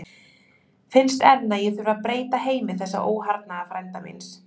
Finnst enn að ég þurfi að breyta heimi þessa óharðnaða frænda míns.